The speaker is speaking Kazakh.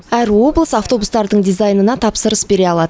әр облыс автобустардың дизайнына тапсырыс бере алады